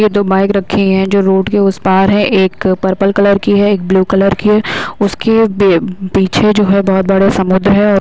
ये दो बाइक रखी हैं जो रोड के उस पार है एक पर्पल कलर की है एक ब्लू कलर की है उसके बे पीछे जो है बहुत बड़ा समुद्र है।